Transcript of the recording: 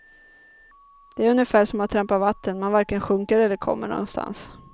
Det är ungefär som att trampa vatten, man varken sjunker eller kommer någonstans.